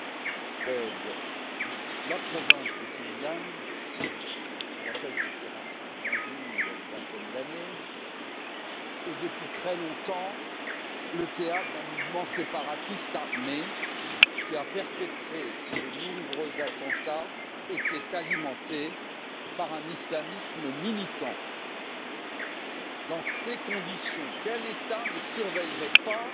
Monsieur le Président, la province du Xinjiang, dans laquelle je m'étais rendu il y a une vingtaine d'années, est depuis très longtemps le théâtre d'un mouvement séparatiste armé, qui a perpétré de nombreux attentats et qui est alimenté par un islamisme militant. Dans ces conditions, quel État ne surveillerait pas